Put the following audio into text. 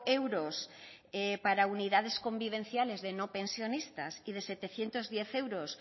euros para unidades convivenciales de no pensionistas y de setecientos diez euros